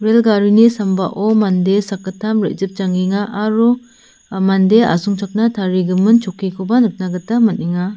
rel garini sambao mande sakgittam re·jipjangenga aro ah mande asongchakna tarigimin chokkikoba nikna gita man·enga.